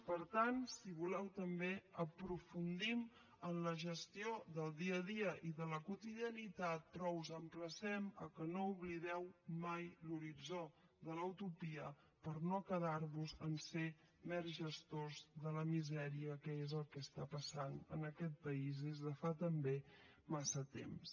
per tant si voleu també aprofundim en la gestió del dia a dia i de la quotidianitat però us emplacem que no oblideu mai l’horitzó de la utopia per no quedar vos a ser mers gestors de la misèria que és el que està passant en aquest país des de fa també massa temps